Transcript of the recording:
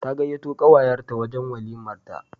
Ta gayyato kawayenta wurin walimarta.